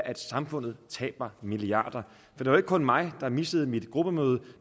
at samfundet taber milliarder for det var ikke kun mig der missede mit gruppemøde